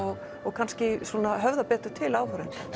og kannski höfðar betur til áhorfenda